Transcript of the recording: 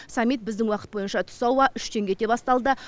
саммит біздің уақыт бойынша түс ауа үштен кете басталды